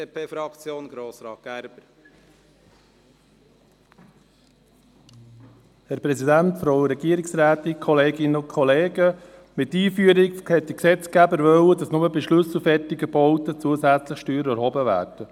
Mit der Einführung wollte der Gesetzgeber, dass nur bei schlüsselfertigen Bauten zusätzliche Steuern erhoben werden.